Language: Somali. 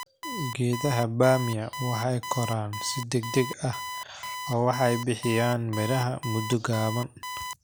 Geedaha bamia waxay koraan si degdeg ah oo waxay bixiyaan miraha muddo gaaban.